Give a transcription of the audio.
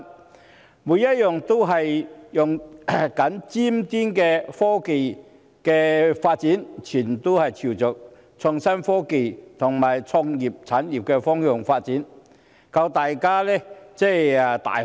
它們每一項均在使用尖端的科技，全部均朝着創新科技和創意產業方向發展，令大家眼界大開。